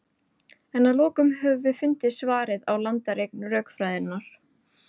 en að lokum höfum við fundið svarið á landareign rökfræðinnar